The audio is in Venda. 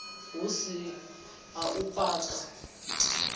hu si a u paka